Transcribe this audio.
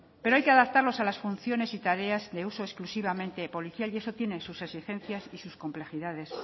pero hay que adaptarlos a las funciones y tareas de uso exclusivamente policial y eso tiene sus exigencias y sus complejidades